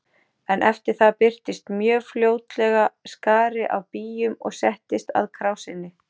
En eftir það birtist mjög fljótlega skari af býjum og settist að krásinni.